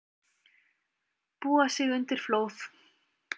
Búa sig undir flóð